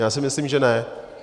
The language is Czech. Já si myslím, že ne.